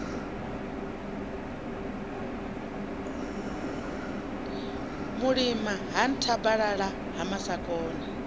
mulima ha nthabalala ha masakona